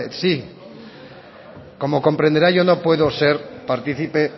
sí como comprenderá yo no puedo ser partícipe